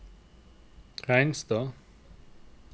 Reinstad